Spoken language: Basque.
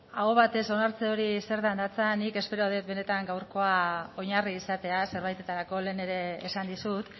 aho batez onartze hori zertan datza nik espero det benetan gaurkoa oinarri izatea zerbaitetarako lehen ere esan dizut